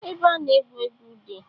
Ebe a na-egwu egwu dị.